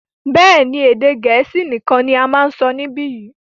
béèni, Èdè Gẹ̀ẹ́sì nikan là má sọ nibiyi.